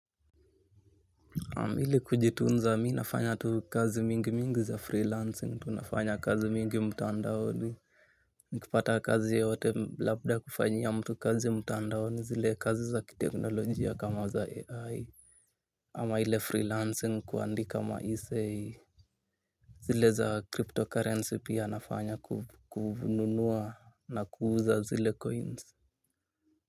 Ili kujitunza, mi nafanya tu kazi mingi mingi za freelancing, tu nafanya kazi mingi mtandaoni. Nkipata kazi yoyote labda kufanyia mtu kazi mtandaoni zile kazi za kiteknolojia kama za AI. Ama ile freelancing kuandika maessay. Zile za cryptocurrency pia nafanya kubununua na kuuza zile coins.